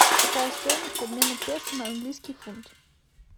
какая стоимость обмена песо на английский фунт